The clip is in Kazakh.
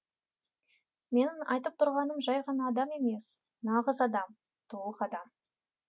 менің айтып тұрғаным жай ғана адам емес нағыз адам толық адам